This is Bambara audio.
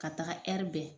Ka taga bɛ